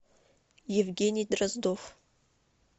евгений дроздов